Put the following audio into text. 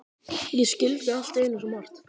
Ég skildi allt í einu svo margt.